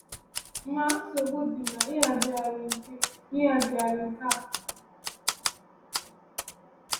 Ma, nsogbu dị n’ịhazigharị nke n’ịhazigharị nke a.